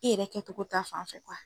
I yɛrɛ kɛtogo ta fanfɛ.